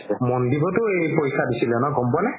মন্দিপওতো এই পৰীক্ষা দিছিলে গ'ম পোৱা নে